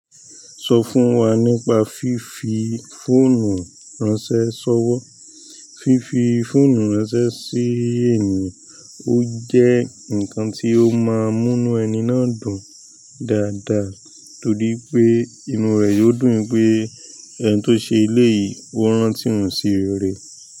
Sọ fún wa nípa fífi fọ́ọ̀nu ránṣẹ́ ṣọ̀wọ́. Fífi fóònù ránṣẹ́ sí ènìyàn ó jẹ́ ǹkan tí ó máa múnu ẹni náà dùn dáadáa torí pé inú rẹ̀ yóò dùn pé ẹni tó ṣe ele yìí ó rántí òun sí re rẹ̀.